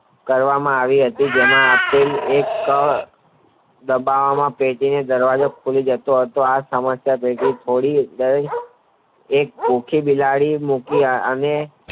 કરવામાં આવી હતી તેમાં આપેલ એક દબાવમાં પેટીનો દરવાજો ખુલી જતો હતો આ સમસ્યા જલ્દી ફોડાવી એક ભૂખી બિલાડી કે એને